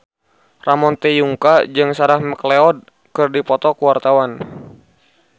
Ramon T. Yungka jeung Sarah McLeod keur dipoto ku wartawan